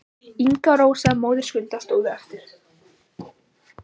Inga og Rósa, móðir Skunda, stóðu eftir.